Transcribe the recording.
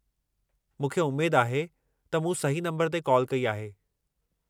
मूंखे उमेद आहे त मूं सही नंबरु ते कॉल कई आहे।